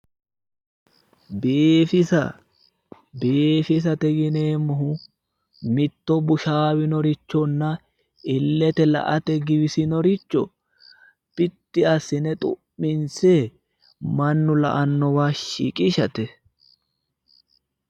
biifisa biifisate yineemmohu mitto bushaawinorichonnna illete la'ate giwisinoricho biddi assine xu'minse mannu la'annowa shiqishate.